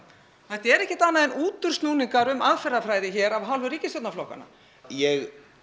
þetta er ekkert annað en útúrsnúningar um aðferðarfræði hér af hálfu ríkisstjórnarflokkanna ég